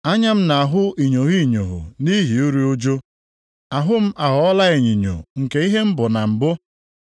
Anya m na-ahụ inyogho inyogho nʼihi iru ụjụ; ahụ m aghọọla onyinyo nke ihe m bụ na mbụ.